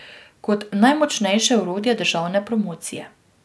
Kot najmočnejše orodje državne promocije.